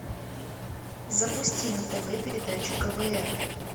запусти на тв передачу квн